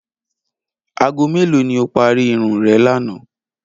Aago mélòó ni o parí irun re̩ lánàá?